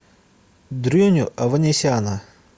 дрюню аванесяна